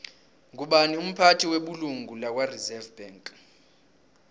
ngubani umphathi webulungo lakwareserve bank